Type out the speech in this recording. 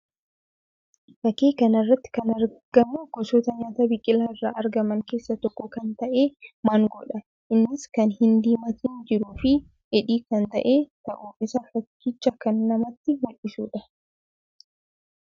Fakkii kana irratti kan argamu gosoota nyaata biqilaa irraa argaman keessaa tokko kan ta'e maangoo dha. Innis kan hin diimatin jiruu fi dheedhii kan ta'e ta'uu isaa fakkicha kan namatti mul'isuudha.